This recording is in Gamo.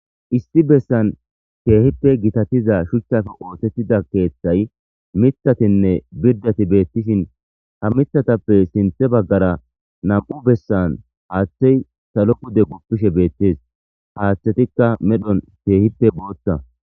Issi bessan keehippe gitatiza shuchchafe ootettida keeththay mithatinne birdati beettishin ha mithatappe sinthe baggara nam'u bessan haaththey salo kude guppishe beettis haaththetikka medhon keehippe boothta.